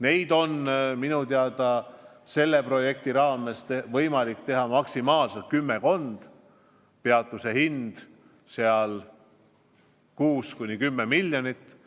Neid on minu teada selle projekti raames võimalik teha maksimaalselt kümmekond, peatuse hind oleks 6–10 miljonit.